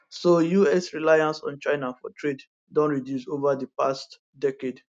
so us reliance on china for trade don reduce ova di past decade